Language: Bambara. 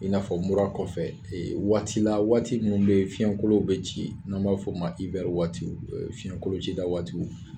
I n'a fɔ mura kɔfɛ waati la waati minnu bɛ yen fiɲɛkolo bɛ ci, n'an b'a fɔ ma waati fiɲɛkolon ci da waatiw.